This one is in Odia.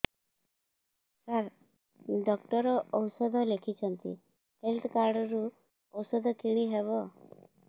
ସାର ଡକ୍ଟର ଔଷଧ ଲେଖିଛନ୍ତି ହେଲ୍ଥ କାର୍ଡ ରୁ ଔଷଧ କିଣି ହେବ